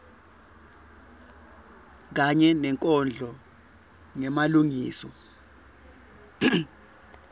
kanye nenkondlo ngemalengiso